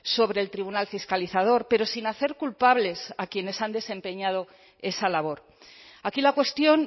sobre el tribunal fiscalizador pero sin hacer culpables a quienes han desempeñado esa labor aquí la cuestión